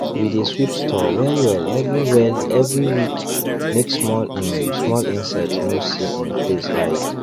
we dey sweep store well well every well every week make small um small insects no see um place hide